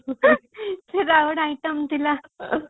ସେଇଟା ଆଉ ଗୋଟେ item ଥିଲା